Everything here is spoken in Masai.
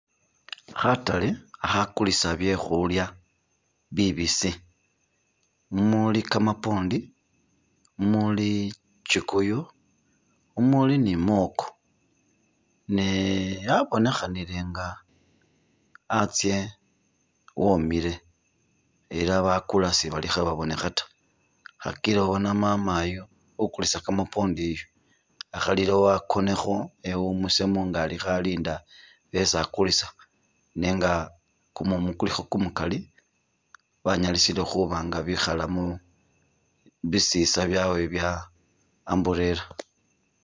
Katale khakulisa byekhulya bibisi mumuli kamapondi muli kyikuyu mumuli ni mwoko ne yabonekhanile inga hatse homile ela bakula sibalikhe babonekha ta khakil ubona mama yu ukulisa kamapondi yu akhalilewo akonekho ewumusemo nga alikho alinda besi akulisa nenga kumumu kulikho kumukali wanyalisile khubanga bikhalamo bisisa byawe bya umbrella.